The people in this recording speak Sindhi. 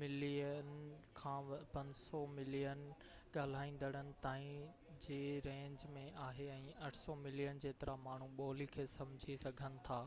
ملين کان 500 ملين ڳالهائيندڙن تائين جي رينج ۾ آهي ۽ 800 ملين جيترا ماڻهو ٻولي کي سمجهي سگهن ٿا